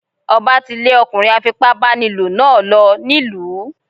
Ọba tí lè ọkùnrin afipá báni lò náà lọ nílùú.